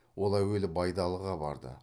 ол әуелі байдалыға барды